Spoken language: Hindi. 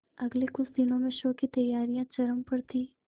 अगले कुछ दिनों में शो की तैयारियां चरम पर थी